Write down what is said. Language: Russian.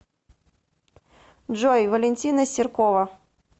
джой валентина серкова